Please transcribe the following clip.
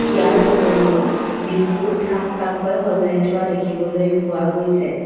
ইয়াৰ উপৰিও বিস্কুট থাক থাককৈ সজাই থোৱা দেখিবলৈ পোৱা গৈছে।